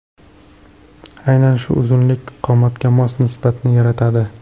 Aynan shu uzunlik qomatga mos nisbatni yaratadi.